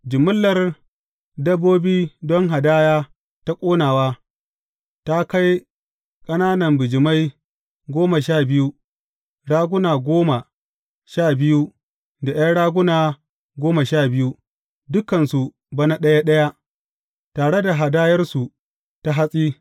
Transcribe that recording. Jimillar dabbobi don hadaya ta ƙonawa, ta kai ƙanana bijimai goma sha biyu, raguna goma sha biyu da ’yan raguna goma sha biyu, dukansu bana ɗaya ɗaya, tare da hadayarsu ta hatsi.